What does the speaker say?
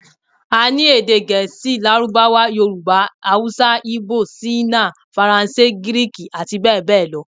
A ní èdè Gẹ̀ẹ́sì, Lárúbáwá, Yorùbá, Haúsá, ígbò, ṣíínà, Faransé, Gíríìkì àti bẹ́ẹ̀ bẹ́ẹ̀ lọ l